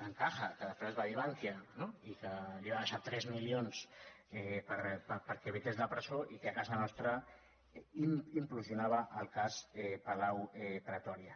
bancaja que després es va dir bankia no li va deixar tres milions perquè evités la presó i que a casa nostra implosionava el cas palau pretòria